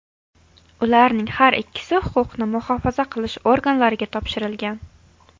Ularning har ikkisi huquqni muhofaza qilish organlariga topshirilgan.